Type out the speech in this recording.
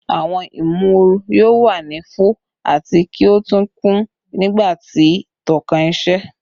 Awọn imooru yoo wa ni fo ati ki o tun kun nigba ti tókàn iṣẹ